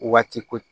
Waati ko